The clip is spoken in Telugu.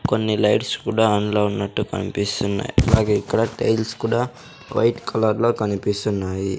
కొన్ని లైట్స్ కూడా ఆన్లో ఉన్నట్టు కన్పిస్తున్నాయ్ అలాగే ఇక్కడ టైల్స్ కూడా వైట్ కలర్ లో కనిపిస్తున్నాయి.